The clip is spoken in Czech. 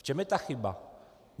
V čem je ta chyba?